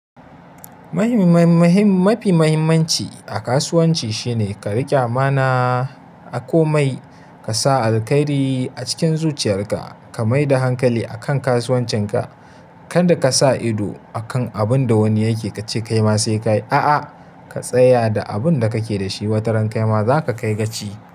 Mafi muhimmanci a kasuwanci shine ka riƙi amana a komai, ka sa alkairi a cikin zuciyarka, ka mai da hankali a kan kasuwancinka. Kanda ka sa ido akan abun da wani yake ka ce kai ma sai ka yi, a'a, ka tsaya da abun da kake da shi. Wata ran kai ma za ka kai gaci.